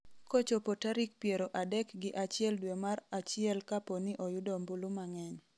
kochopo tarik piero adek gi achiel dwe mar achiel kapo ni oyudo ombulu mang'eny